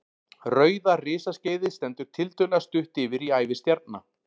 Rauða risaskeiðið stendur tiltölulega stutt yfir í ævi stjarna.